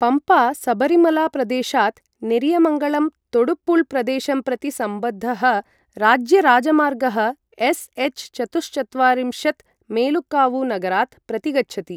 पम्पा सबरीमला प्रदेशात् नेरियमङ्गलम् तोडुपुळ प्रदेशं प्रति सम्बद्धः राज्यराजमार्गः एस्.एच्.चतुश्चत्वारिंशत् मेलुकावु नगरात् प्रतिगच्छति।